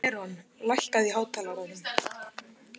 Eron, lækkaðu í hátalaranum.